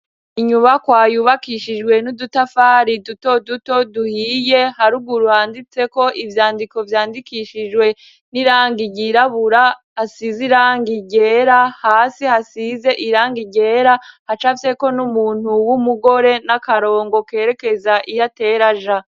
Inyubakwa yubakishijwe n'udutafari duto duto duhiye, haruguru handitseko ivyandiko vyandikishijwe n'irangi ryirabura, hasize irangi ryera. Hasi hasize irangi ryera, hacafyeko n'umuntu w'umugore n'akarongo kerekeza iyo atera aja.